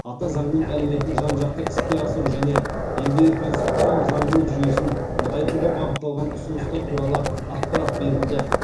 ата заңның әлеуетін жан жақты іске асыру және елдегі конституциялық заңдылық жүйесін нығайтуға бағытталған ұсыныстар туралы ақпарат берілді